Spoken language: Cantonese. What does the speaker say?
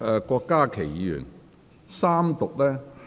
郭家麒議員，在三讀辯論中......